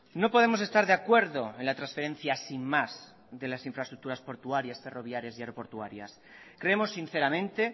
no podemos estar de acuerdo en la transferencia sin más de las infraestructuras portuarias ferroviarias y aeroportuarias creemos sinceramente